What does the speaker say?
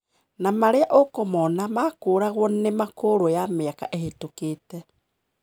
Na maria ũkũmona makũraguo ni makũrũ ya miaka ihitũkite.